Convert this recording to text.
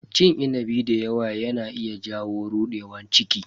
Cin inabi dayawa yana iya jawo rudewar ciki.